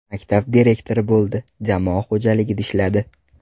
Maktab direktori bo‘ldi, jamoa xo‘jaligida ishladi.